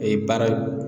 Ee baara